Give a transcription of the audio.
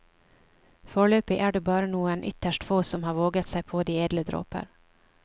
Foreløpig er det bare noen ytterst få som har våget seg på de edle dråper.